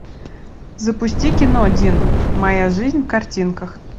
запусти кино один моя жизнь в картинках